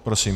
Prosím.